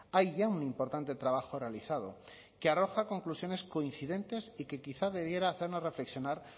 hay ya un importante trabajo realizado que arroja conclusiones coincidentes y que quizá debería hacernos reflexionar